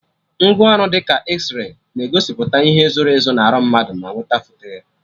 Ngwaọrụ dị ka Ezray na-egosipụta ihe zoro ezo na arụ mmadụ ma nwete foto ya